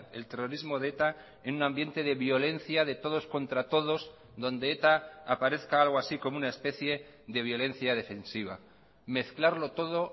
el terrorismo de eta en un ambiente de violencia de todos contra todos donde eta aparezca algo así como una especie de violencia defensiva mezclarlo todo